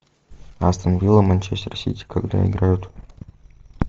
астон вилла манчестер сити когда играют